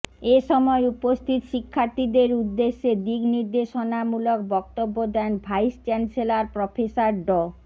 এ সময় উপস্থিত শিক্ষার্থীদের উদ্দেশ্যে দিকনির্দেশনামূলক বক্তব্য দেন ভাইস চ্যান্সেলর প্রফেসর ড